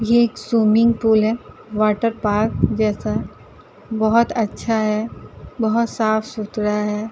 ये एक swimming pool है। वाटरपार्क जैसा बहोत अच्छा है बहोत साफ़ सुथरा है।